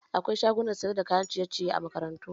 Akwai shagunan sayar da kayan ciye-ciye a makarantu